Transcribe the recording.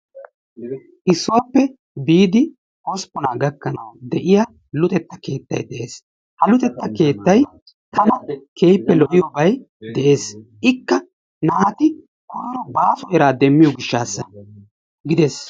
Issuwappe biidi hosppunaa gakkanawu de'iya luxeta keettay de'ees. Ha luxeta keettay tana keehippe lo'iyobay dees, ikka naati koyro baaso eraa demmiyo gishshassa gidees.